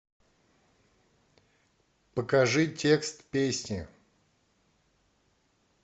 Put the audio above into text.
покажи текст песни